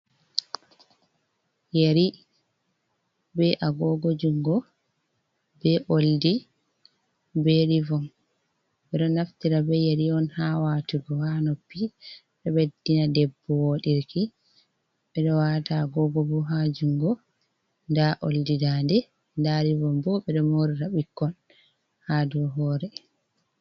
Yeri be agoogo junngo ,be oldi ,be rivon. Ɓe ɗo naftira be yeri on haa watugo haa noppi ,ɗo ɓeddina debbo dereke, ɓe ɗo waata agoogo bo haa junngo, ndaa oldi daande, ndaa rivon bo, ɓe ɗo moorira bikkoy haa dow hoore.